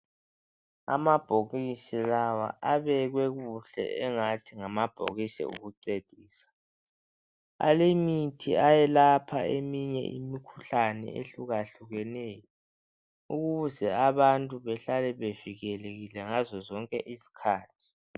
Amabhokisi lawa, abekwe kuhle, engathi ngamabhokisi okucecisa. Alemithi ayelapha abantu imikhuhlane, eyehlukehlukeneyo. Ukuze abantu behlale bevikelekile ngaso sonke isikhathi.